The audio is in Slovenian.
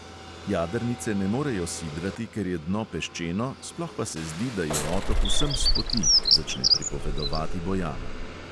Jadrnice ne morejo sidrati, ker je dno peščeno, sploh pa se zdi, da je otok vsem s poti, začne pripovedovati bojana.